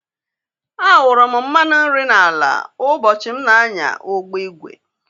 A awuru m mmanụ nri n'ala ugbochi m na-anya ụgbọ igwe